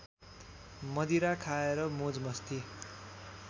मदिरा खाएर मोजमस्ती